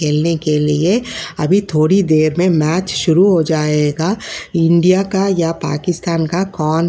खेलने के लिए । अभी थोड़ी देर में मैंच शुरू हो जाएगा। इंडिया का या पाकिस्तान का कौन --